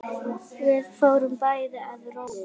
Við fórum bæði að róla.